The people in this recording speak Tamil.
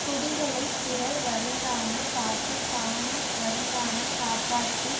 குடிகளை பிறர் வருந்தாமல் காத்து தானும் வருந்தாமல் காப்பாற்றி